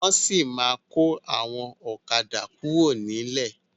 Wọn sì ma kọ àwọn ọ̀kadà kuro nilẹ.